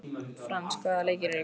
Frans, hvaða leikir eru í kvöld?